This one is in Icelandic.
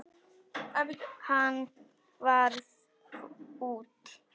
Hann varð fúll.